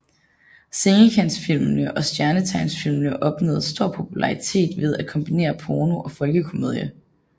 Sengekantsfilmene og Stjernetegnsfilmene opnåede stor popularitet ved at kombinere porno og folkekomedie